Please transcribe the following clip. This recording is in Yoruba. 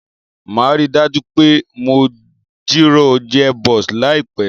Màá ríi dájú pé mo jìrọ̀ gearbox láìpẹ̀